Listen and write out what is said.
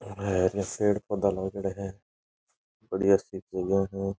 यहाँ पेड़ पौधा लागेड़ा है बढ़िया सी जगह है।